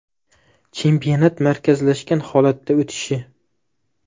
Chempionat markazlashgan holatda o‘tishi?